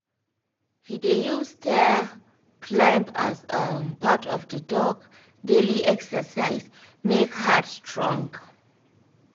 he dey use stair climb as um part of the dog daily exercise make heart strong.